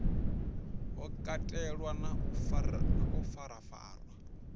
ho katelwa na u farafarwa